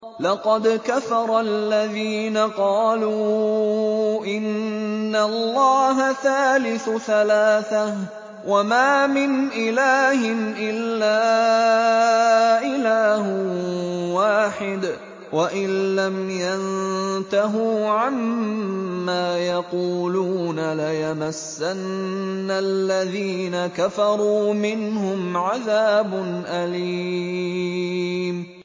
لَّقَدْ كَفَرَ الَّذِينَ قَالُوا إِنَّ اللَّهَ ثَالِثُ ثَلَاثَةٍ ۘ وَمَا مِنْ إِلَٰهٍ إِلَّا إِلَٰهٌ وَاحِدٌ ۚ وَإِن لَّمْ يَنتَهُوا عَمَّا يَقُولُونَ لَيَمَسَّنَّ الَّذِينَ كَفَرُوا مِنْهُمْ عَذَابٌ أَلِيمٌ